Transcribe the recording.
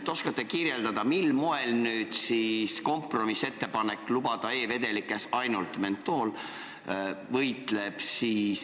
Ehk oskate kirjeldada, mil moel see kompromissettepanek lubada e-vedelikes ainult mentooli võitleb musta e-turu vastu?